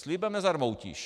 Slibem nezarmoutíš.